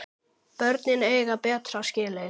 Börnin eiga betra skilið.